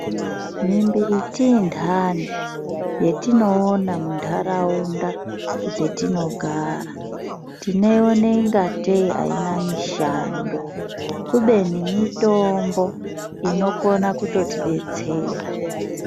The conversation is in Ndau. Mimbiti indani yetinoona muntaraunda dzetinogara tinoione ingatei haina mishando, kubeni mitombo inokona kutotidetsera.